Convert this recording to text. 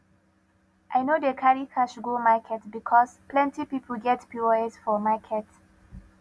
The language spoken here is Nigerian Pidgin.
i no dey carry cash go market because plenty pipo get pos for market